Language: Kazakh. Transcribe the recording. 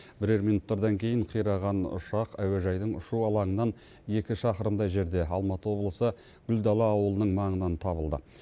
бірер минуттардан кейін қираған ұшақ әуежайдың ұшу алаңынан екі шақырымдай жерде алматы облысы гүлдала ауылының маңынан табылды